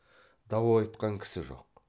дау айтқан кісі жоқ